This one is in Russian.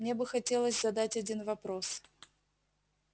мне бы хотелось задать один вопрос